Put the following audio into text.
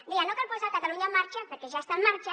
deia no cal posar catalunya en marxa perquè ja està en marxa